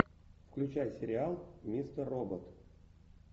включай сериал мистер робот